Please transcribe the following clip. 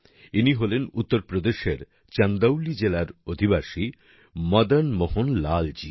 ইনি হলেন উত্তরপ্রদেশের চন্দৌলি জেলার অধিবাসী মদন মোহন লাল জি